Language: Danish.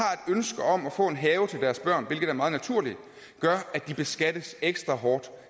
ønske om at få en have til deres børn hvilket er meget naturligt gør at de beskattes ekstra hårdt